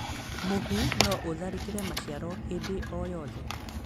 Mũhu no ũtharĩkĩre maciaro hĩndĩ o yothe